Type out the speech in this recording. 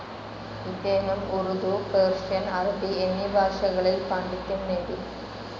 ഇദ്ദേഹം ഉർദു, പേർഷ്യൻ, അറബി എന്നീ ഭാഷകളിൽ പാണ്ഡിത്യം നേടി.